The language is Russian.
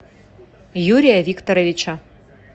юрия викторовича